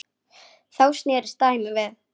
Þá snerist dæmið við.